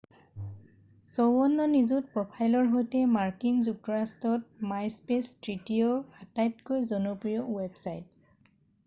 54 নিযুত প্ৰফাইলৰ সৈতে মাৰ্কিন যুক্তৰাষ্ট্ৰত মাইস্পেছ তৃতীয় আটাইতকৈ জনপ্ৰিয় ৱেবছাইট